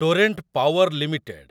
Torrent Power limited